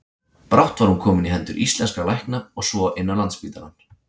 Brátt var hún komin í hendur íslenskra lækna og svo inn á Landspítalann.